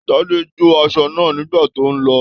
Tade jo aṣọ náà nígbà tó n lọ ọ.